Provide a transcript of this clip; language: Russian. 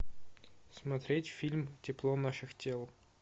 смотреть фильм тепло наших тел